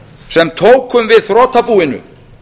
sem tókum við þrotabúinu